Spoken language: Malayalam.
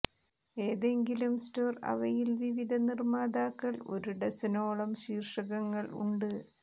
ഏതെങ്കിലും സ്റ്റോർ അവയിൽ വിവിധ നിർമ്മാതാക്കൾ ഒരു ഡസനോളം ശീർഷകങ്ങൾ ഉണ്ട്